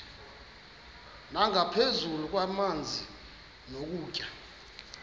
nangaphezu kwamanzi nokutya